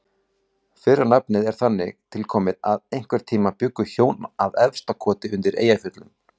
Fyrra nafnið er þannig tilkomið að einhvern tíma bjuggu hjón að Efstakoti undir Eyjafjöllum.